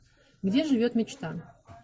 где живет мечта